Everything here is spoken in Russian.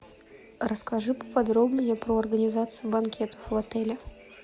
расскажи поподробнее про организацию банкетов в отеле